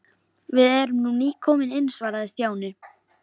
Við erum nú nýkomin inn svaraði Stjáni.